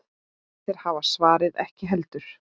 Þeir hafa svarið ekki heldur.